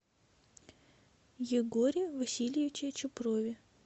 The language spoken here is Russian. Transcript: егоре васильевиче чупрове